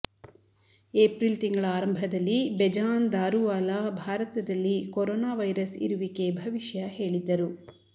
April ತಿಂಗಳ ಆರಂಭದಲ್ಲಿ ಬೆಜಾನ್ ದಾರುವಾಲ್ಲಾ ಭಾರತದಲ್ಲಿ ಕೊರೋನಾ ವೈರಸ್ ಇರುವಿಕೆ ಭವಿಷ್ಯ ಹೇಳಿದ್ದರು